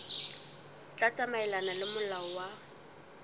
tla tsamaelana le molao wa